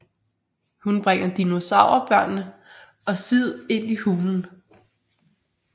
Hun bringer dinosaur børnene og Sid ind i hulen